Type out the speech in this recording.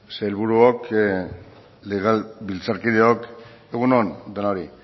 sailburuok legebiltzarkideok egun on denoi